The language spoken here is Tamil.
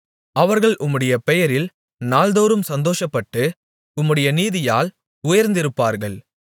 அவர்கள் உம்முடைய பெயரில் நாள்தோறும் சந்தோஷப்பட்டு உம்முடைய நீதியால் உயர்ந்திருப்பார்கள்